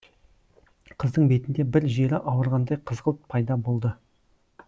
қыздың бетінде бір жері ауырғандай қызғылт пайда болды